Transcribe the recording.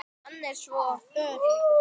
Hann er svo ör!